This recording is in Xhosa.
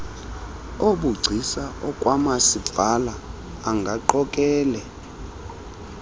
obugcisa okwamasipala angaqokele